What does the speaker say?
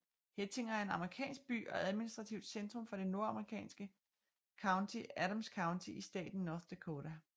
Hettinger er en amerikansk by og administrativt centrum for det amerikanske county Adams County i staten North Dakota